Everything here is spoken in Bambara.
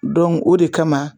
Dɔngu o de kama